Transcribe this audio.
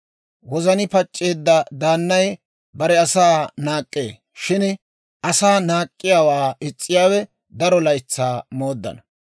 Wozani pac'c'eedda daannay bare asaa naak'k'ee; shin asaa naak'k'iyaawaa is's'iyaawe daro laytsaa mooddana.